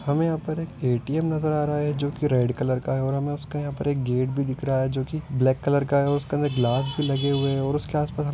हमें यहां पर ए_टी_एम नजर आ रहा है जो की रेड कलर का है। और हमें उसके यहां पर एक गेट भी दिख रहा है जो की ब्लैक कलर का है उसका गिलास भी लगे हुए हैं और उसके आसपास में व्हाइट बिल्डिंग नजर आ रही है।